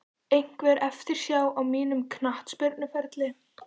Einhver eftirsjá á mínum knattspyrnuferli?